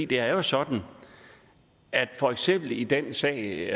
det er jo sådan at for eksempel i den sag